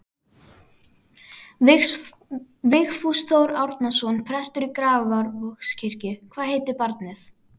Vigfús Þór Árnason, prestur í Grafarvogskirkju: Hvað heitir barnið?